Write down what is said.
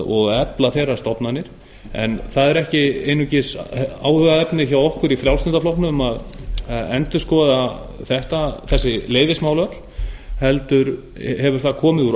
og efla þeirra stofnanir en það er ekki einungis áhugaefni hjá okkur í frjálslynda flokknum að endurskoða þessi leyfismál öll heldur hefur það komið úr